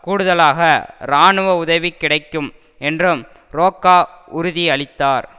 கூடுதலாக இராணுவ உதவி கிடைக்கும் என்றும் றோக்கா உறுதியளித்தார்